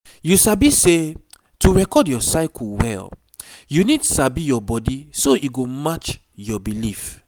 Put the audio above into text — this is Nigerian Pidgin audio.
you sabi say to record your cycle well you need sabi your body so e go match your belief